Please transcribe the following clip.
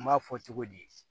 N m'a fɔ cogo di